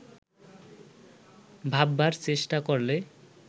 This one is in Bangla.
ভাববার চেষ্টা করলে